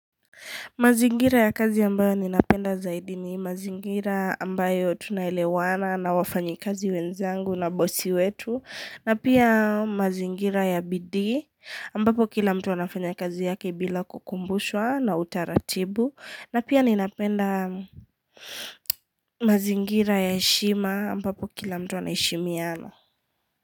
Mazingira ya kazi ambayo ninapenda zaidi ni mazingira ambayo tunaelewana na wafanyi kazi wenzangu na bosi wetu. Na pia mazingira ya bidii ambapo kila mtu anafanya kazi yake bila kukumbushwa na utaratibu. Na pia ninapenda mazingira ya heshima ambapo kila mtu anaheshimiana.